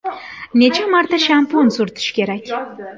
Necha marta shampun surtish kerak?